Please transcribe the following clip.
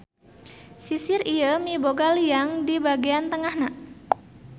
Sisir ieu miboga liang di bagèan tengahna.